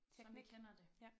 Teknik ja